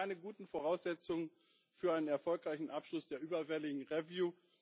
Das sind keine guten Voraussetzungen für einen erfolgreichen Abschluss des überfälligen review